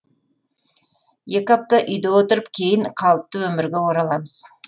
екі апта үйде отырып кейін қалыпты өмірге ораламыз